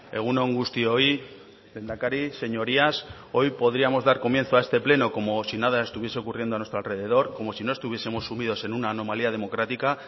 egun on guztioi lehendakari señorías hoy podríamos dar comienzo a este pleno como si nada estuviese ocurriendo a nuestro alrededor como si no estuviesemos sumidos en una anomalía democrática